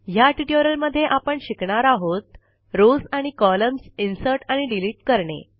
ह्या ट्युटोरियलमध्ये आपण शिकणार आहोत रॉव्स आणि कॉलम्स इन्सर्ट आणि डिलीट करणे